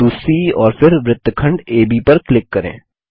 बिंदु सी और फिर वृत्तखंड एबी पर क्लिक करें